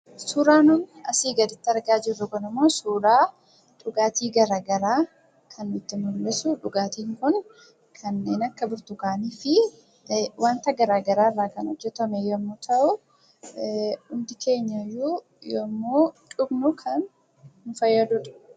Suuraa nuyi asi gaditti argaa jirru kunimmo, suuraa dhugaatii garaagaraadha. dhugaatii kun kanneen akka burtukaanii fi wanta garaagaraa irrraa kan hojjetame yemmu ta'u innis faayidaa gara garaa qaba.